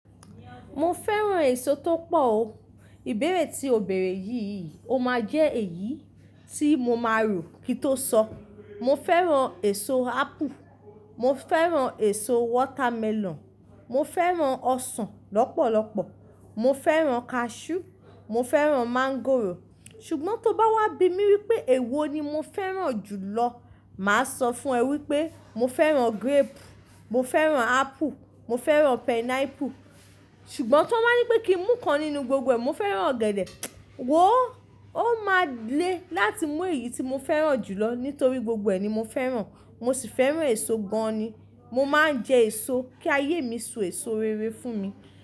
Mo fẹ́ràn èso tó pọ̀ o. Ìbéèrè tí o bèèrè yìí, o máa jẹ́ èyí tí mo máa rò kító sọ. Mo fẹ́ràn èso apple, mo fẹ́ràn èso watermelon, mo fẹ́ràn ọsàn lọ́pọ̀lọ́pọ̀, mo fẹ́ràn cashew, mo fẹ́ràn mango. Ṣùgbọ́n tó bá wá bi mí wípé èwo ni mo fẹ́ràn jùlọ, màá sọ fún ẹ wípé mo fẹ́ràn grape, mo fẹ́ràn apple, mo fẹ́ràn pineapple. Ṣùgbọ́n tó máa nípé kí n mú kan nínú gbogbo ẹ, mo fẹ́ràn ọ̀gẹ̀dẹ̀. Wò ó! Ó máa le láti mú èyí tí mo fẹ́ràn jùlọ nítorí gbogbo ẹ ni mo fẹ́ràn. Mo sì fẹ́ràn èso gan ni. Mo máa ń jẹ èso kí ayé mi so èso rere fún mi.